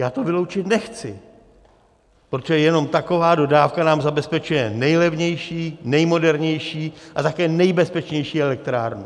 Já to vyloučit nechci, protože jenom taková dodávka nám zabezpečuje nejlevnější, nejmodernější a také nejbezpečnější elektrárnu.